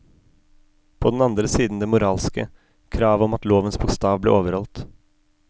På den andre siden det moralske, kravet om at lovens bokstav ble overholdt.